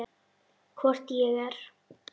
Hvort ég er.